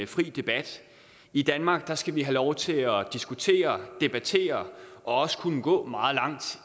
fri debat i danmark skal vi have lov til at diskutere og debattere og også kunne gå meget langt